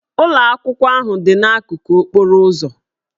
Ụlọ akwụkwọ ahụ dị n'akụkụ okporo ụzọ